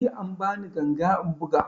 Jiya an ba ni ganga in buga